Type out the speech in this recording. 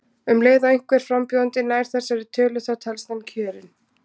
Um leið og einhver frambjóðandi nær þessari tölu þá telst hann kjörinn.